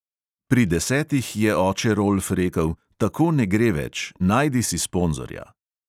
Pri desetih je oče rolf rekel: tako ne gre več, najdi si sponzorja.